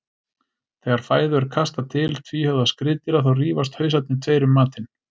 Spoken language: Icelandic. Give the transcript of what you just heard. Þegar fæðu er kastað til tvíhöfða skriðdýra þá rífast hausarnir tveir um matinn.